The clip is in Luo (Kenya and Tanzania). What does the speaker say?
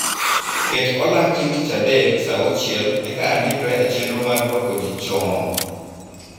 Ket olang' chieng' tich adek saa auchiel eka andikra e chenro mar rwako ji chon.